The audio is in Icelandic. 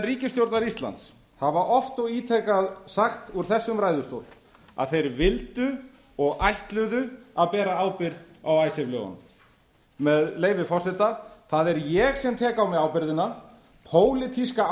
ríkisstjórnar íslands hafa oft og ítrekað sagt úr þessum ræðustól að þeir vildu og ætluðu að bera ábyrgð á icesave lögunum með leyfi forseta það er ég sem tek á mig ábyrgðina pólitíska